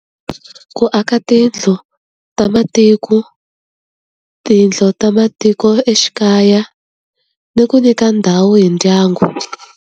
Ku aka tiyindlu ta matiko, tiyindlu ta matikoxikaya, ni ku nyika ndhawu hi ndyangu.